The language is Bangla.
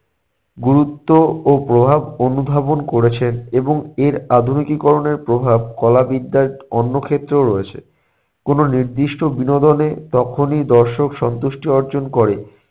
গুরুত্ব ও প্রভাব অনুধাবন করেছেন এবং এর আধুনিকীকরণের প্রভাব কলা বিদ্যার অন্য ক্ষেত্রেও রয়েছে কোনো নির্দিষ্ট বিনোদনে তখনই দর্শক সন্তুষ্টি অর্জন করে